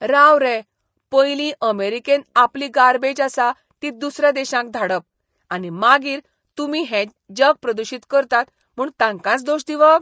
राव रे, पयलीं अमेरिकेन आपली गार्बेज आसा ती दुसऱ्या देशांक धाडप, आनी मागीर तुमी हे जग प्रदूशीत करतात म्हूण तांकांच दोश दिवप?